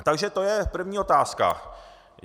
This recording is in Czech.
Takže to je první otázka.